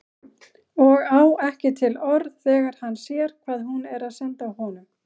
Og á ekki til orð þegar hann sér hvað hún er að senda honum.